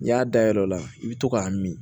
N'i y'a dayr'o la i bɛ to k'a min